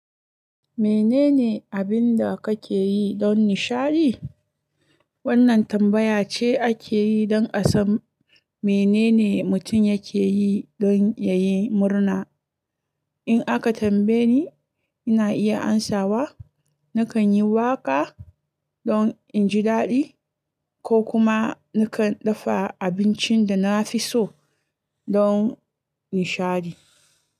Menene abin da kake yi don nishaɗi? Wannan tambaya ce ake yi don a san menene mutum yake yi don ya yi murna. In aka tambaye ni, ina iya amsawa nakan yi waƙa don in ji daɗi ko kuma nakan dafa abincin da na fi so don nishaɗi.